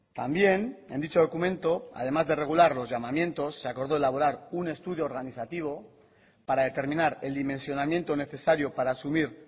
también en dicho documento además de regular los llamamientos se acordó elaborar un estudio organizativo para determinar el dimensionamiento necesario para asumir